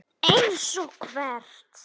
SÓLA: Eins og hvert?